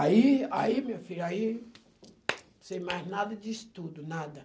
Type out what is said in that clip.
Aí, aí minha filha, aí sem mais nada de estudo, nada.